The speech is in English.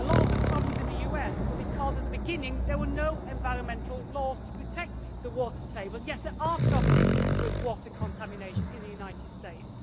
A lot of the problems in the US were because at the beginning there were no environmental laws to protect the water table. Yes, there are problems with water contamination in the United States